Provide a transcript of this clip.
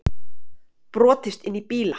Brotist inn í bíla